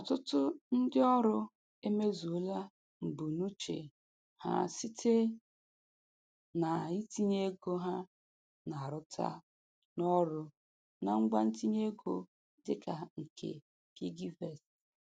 Ọtụtụ ndị ọrụ emezuola mbunuche ha site na-itinye ego ha na-arụta n'ọrụ na ngwa ntinye ego dịka nke piggyvest.